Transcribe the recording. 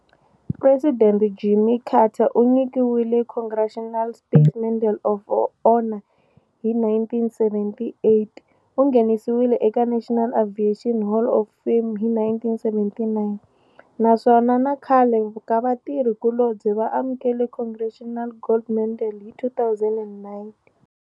President Jimmy Carter u nyikiwile Congressional Space Medal of Honor hi 1978, u nghenisiwile eka National Aviation Hall of Fame hi 1979, naswona na khale ka vatirhi kulobye va amukele Congressional Gold Medal hi 2009.